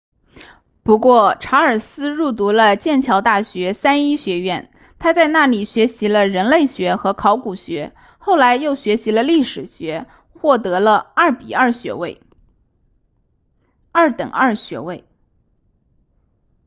不过查尔斯入读了剑桥大学三一学院他在那里学习了人类学和考古学后来又学习了历史学获得了 2:2 学位二等二学位